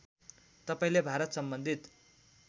तपाईँले भारत सम्बन्धित